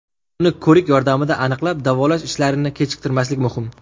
Uni ko‘rik yordamida aniqlab, davolash ishlarini kechiktirmaslik muhim.